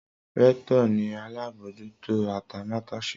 Rector ni alabojuto atamatese.